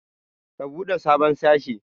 Ku buɗe sabon sashe.